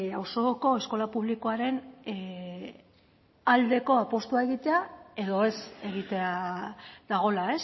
auzoko eskola publikoaren aldeko apustua egitea edo ez egitea dagoela